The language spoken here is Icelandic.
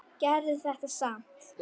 Gerðu þetta samt.